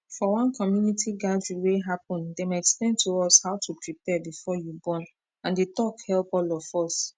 for one community gathering wey happen dem explain to us how to prepare before you born and the talk help all of us